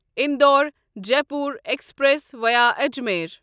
Indore Jaipur express via Ajmer